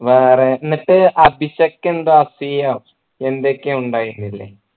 വേറെ എന്നിട്ട് അഭിഷക്ക് എന്തോ അസൂയോ എന്തെക്കൊയോ ഉണ്ടായിട്ടില്ലേ